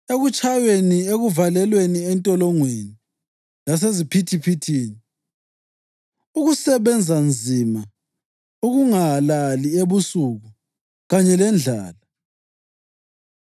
ekutshayweni, ekuvalelweni entolongweni laseziphithiphithini; ukusebenza nzima, ukungalali ebusuku kanye lendlala;